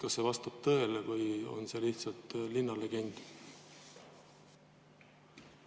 Kas see vastab tõele või on see lihtsalt linnalegend?